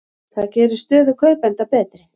Það gerir stöðu kaupenda betri.